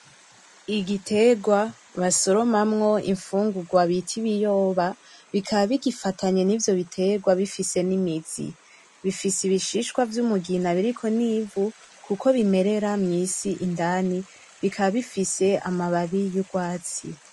Igiterwa basoromamwo imfungurwa bita ibiyoba bikaba bigifatanye nivyo biterwa bigifise nimizi bifise bibishishwa vyumugina biriko nivu kuko bimerera mwisi indani bikaba bifise amababi yurwatsi .